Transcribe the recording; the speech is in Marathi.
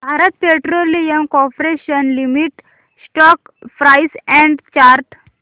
Bharat petroleum corporation limited stock price and chart